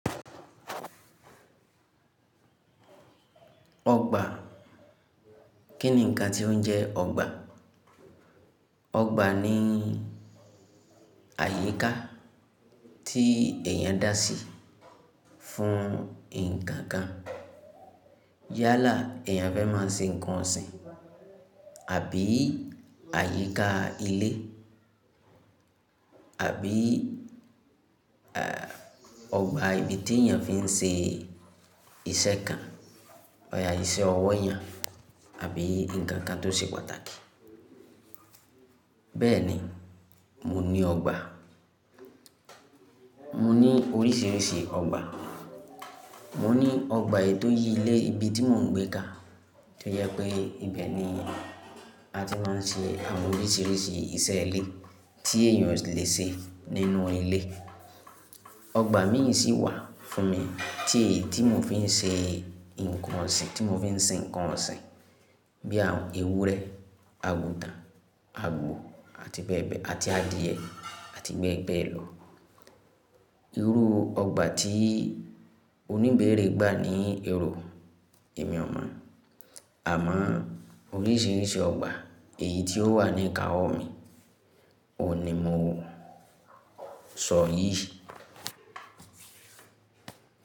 Ọgba. Kí ni ǹkan tí ó ń jẹ́ ọgba? Ọgba ni àyíká tí èèyàn dá sí fún ǹkan kan. Yálà èèyàn fẹ́ máa ń ṣe ǹkan ọ̀sìn, àbí àyíká ilé, àbí, ẹ́, ọgba ibi tí èèyàn fi ń ṣe iṣẹ́ kan, ọjà iṣẹ́ ọwọ́ yẹn àbí ǹkan kan tó ṣe pàtàkì. Bẹ́ẹ̀ni, mo ní ọgba. Mo ní oríṣiríṣi ọgba. Mo ní ọgba ètò yí ilé ibi tí mò ń gbé ka, tí ó yẹ pé ibẹ̀ ni a ti máa ń ṣe àwọn oríṣiríṣi iṣẹ́ ilé tí èèyàn o lè ṣe nínú ilé. Ọgba míì sí wà fún mi tí, tí mò ń fi ń ṣe ǹkan ọ̀sìn, tí mò ń fi ń ṣe ǹkan ọ̀sìn bí i àwọn ewúrẹ́, àgùtàn, àgbo àti bẹ́ẹ̀ bẹ́ẹ̀, àti adìẹ àti bẹ́ẹ̀ bẹ́ẹ̀ lọ. Irú ọgba tí oníbeere gbà ni ẹro èmi ọ mọ, àmọ́ oríṣiríṣi ọgba èyí tí ó wà ní ìkáwọ́ mi, ò ní mo sọ yìí.